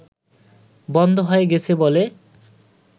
বন্ধ হয়ে গেছে বলে